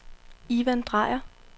Ivan Drejer